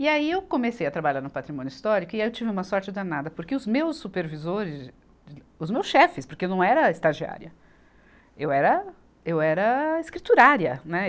E aí eu comecei a trabalhar no Patrimônio Histórico e aí eu tive uma sorte danada, porque os meus supervisores, os meus chefes, porque eu não era estagiária, eu era, eu era escriturária, né e.